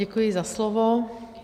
Děkuji za slovo.